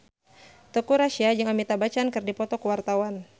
Teuku Rassya jeung Amitabh Bachchan keur dipoto ku wartawan